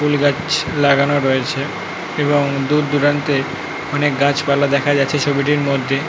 ফুল গাছ লাগানো রয়েছে এবং দূর দূরান্তে অনেক গাছ পালা দেখা যাচ্ছে ছবিটির মধ্যে।